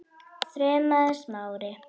þrumaði Smári.